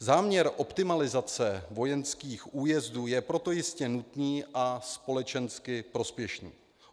Záměr optimalizace vojenských újezdů je proto jistě nutný a společensky prospěšný.